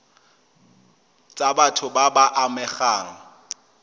tsa batho ba ba amegang